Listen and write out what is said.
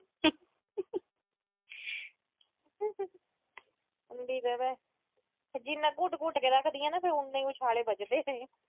ਜਿੰਨਾ ਘੁਟ-ਘੁਟ ਕੇ ਰੱਖਦੀਆਂ ਫਿਰ ਉਨੇ ਹੀ ਉਛਾਲੇ ਵੱਜਦੇ ਆ।